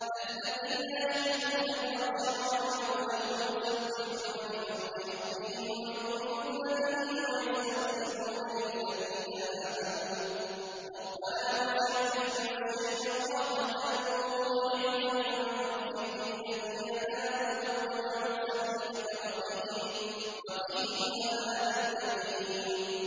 الَّذِينَ يَحْمِلُونَ الْعَرْشَ وَمَنْ حَوْلَهُ يُسَبِّحُونَ بِحَمْدِ رَبِّهِمْ وَيُؤْمِنُونَ بِهِ وَيَسْتَغْفِرُونَ لِلَّذِينَ آمَنُوا رَبَّنَا وَسِعْتَ كُلَّ شَيْءٍ رَّحْمَةً وَعِلْمًا فَاغْفِرْ لِلَّذِينَ تَابُوا وَاتَّبَعُوا سَبِيلَكَ وَقِهِمْ عَذَابَ الْجَحِيمِ